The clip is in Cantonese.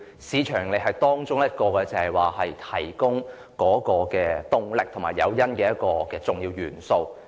市場盈利只是提供動力和誘因的一項重要元素。